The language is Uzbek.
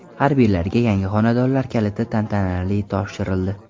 Harbiylarga yangi xonadonlar kaliti tantanali topshirildi.